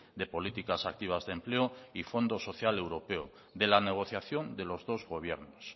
de políticas activas de empleo y fondo social europeo en la negociación de los dos gobiernos